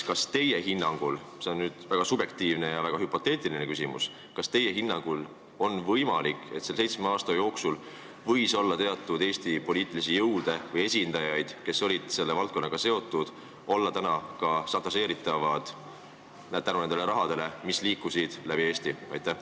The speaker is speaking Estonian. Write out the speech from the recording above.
Kas teie hinnangul – see on väga subjektiivne ja väga hüpoteetiline küsimus – on võimalik, et selle seitsme aasta jooksul võis olla Eesti poliitilisi jõude või nende esindajaid, kes olid selle valdkonnaga seotud, ning nad võivad olla täna šantažeeritavad tänu sellele rahale, mis läbi Eesti liikus?